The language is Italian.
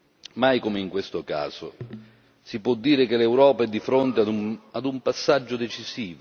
Mai come in questo caso, si può dire che l'Europa è di fronte ad un passaggio decisivo.